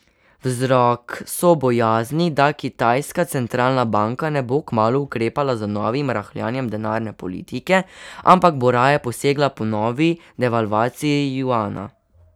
Vzrok so bojazni, da kitajska centralna banka ne bo kmalu ukrepala z novim rahljanjem denarne politike, ampak bo raje posegla po novi devalvaciji juana.